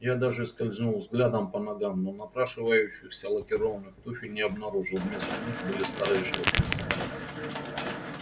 я даже скользнул взглядом по ногам но напрашивающихся лакированных туфель не обнаружил вместо них были старые шлёпанцы